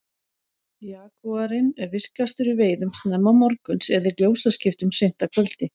jagúarinn er virkastur í veiðum snemma morguns eða í ljósaskiptum seint að kvöldi